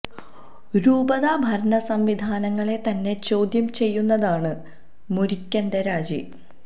രൂപതാ ഭരണ സംവിധാനങ്ങളെ തന്നെ ചോദ്യം ചെയ്യുന്നതാണ് മുരിക്കന്റെ രാജി